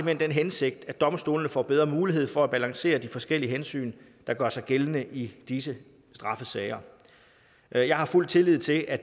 hen den hensigt at domstolene får bedre mulighed for at balancere de forskellige hensyn der gør sig gældende i disse straffesager jeg jeg har fuld tillid til at